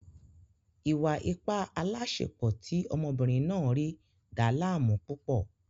Ìwà-ipá aláàsepọ̀ tí ọmọbìnrin náà rí dàá láàmú púpọ̀